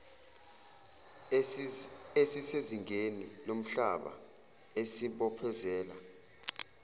esisezingeni lomhlaba esibophezela